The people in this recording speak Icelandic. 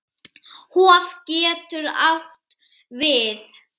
Hof getur átt við